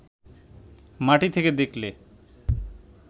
মাটি থেকে দেখলে